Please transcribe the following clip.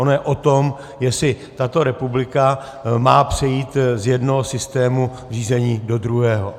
Ono je o tom, jestli tato republika má přejít z jednoho systému řízení do druhého.